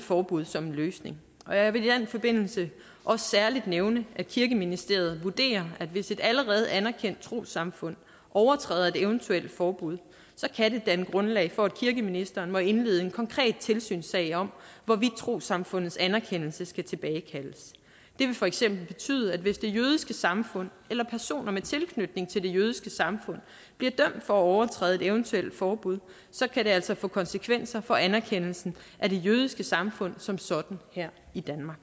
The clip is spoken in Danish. forbud som en løsning jeg vil i den forbindelse også særlig nævne at kirkeministeriet vurderer at hvis et allerede anerkendt trossamfund overtræder et eventuelt forbud så kan det danne grundlag for at kirkeministeren må indlede en konkret tilsynssag om hvorvidt trossamfundets anerkendelse skal tilbagekaldes det vil for eksempel betyde at hvis det jødiske samfund eller personer med tilknytning til det jødiske samfund bliver dømt for at overtræde et eventuelt forbud så kan det altså få konsekvenser for anerkendelsen af det jødiske samfund som sådan her i danmark